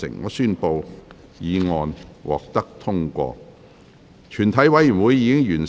我宣布議案獲得通過。